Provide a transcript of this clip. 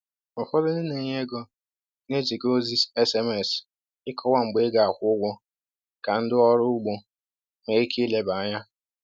Ụfọdụ ndị na-enye ego na-eziga ozi SMS ịkọwa mgbe ị ga-akwụ ụgwọ ka ndị ọrụ ugbo nwee ike ileba anya.